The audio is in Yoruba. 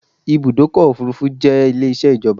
Ibùdọ́kọ̀ òfurufú jẹ́ Ilé isẹ́ ìjọba